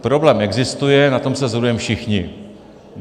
Problém existuje, na tom se shodujeme všichni.